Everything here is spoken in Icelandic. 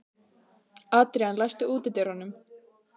Adrian, læstu útidyrunum.